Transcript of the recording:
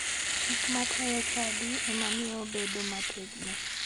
Chik matayo chadi ema miyo obedo ma otegno